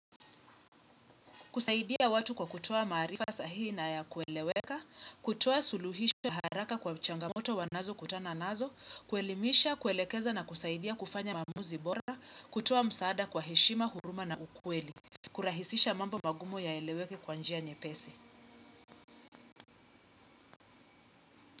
Kusaidia watu kwa kutoa maarifa sahihi na ya kueleweka, kutuoa suluhisho haraka kwa changamoto wanazo kutana nazo, kuelimisha, kuelekeza na kusaidia kufanya maamuzi bora, kutoa msaada kwa heshima, huruma na ukweli, kurahisisha mambo magumu yaeleweke kwa njia nyepesi.